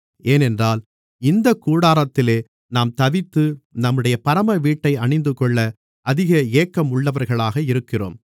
ஏனென்றால் இந்தக் கூடாரத்திலே நாம் தவித்து நம்முடைய பரம வீட்டை அணிந்துகொள்ள அதிக ஏக்கம் உள்ளவர்களாக இருக்கிறோம்